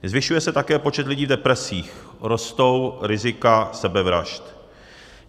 Zvyšuje se také počet lidí s depresí, rostou rizika sebevražd.